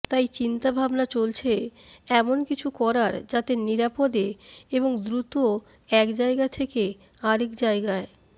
তাই চিন্তাভাবনা চলছে এমনকিছু করার যাতে নিরাপদে এবং খুব দ্রুত এক জায়গা থেকে আরেক জায়গায়